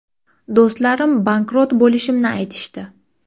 Do‘stlarim bankrot bo‘lishimni aytishdi.